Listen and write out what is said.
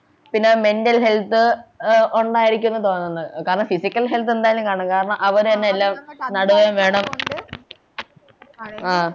പിന്നെ mental health ആഹ് ഉണ്ടായിരിക്കുന്നതാണെന്നു കാരണം physical health എന്തായാലും കാണും കാരണം അവരെന്നെ നേടുകയും വേണം ആഹ്